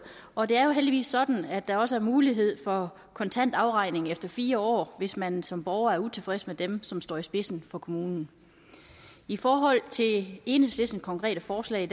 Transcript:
og det er jo heldigvis sådan at der også er mulighed for kontant afregning efter fire år hvis man som borger er utilfreds med dem som står i spidsen for kommunen i forhold til enhedslistens konkrete forslag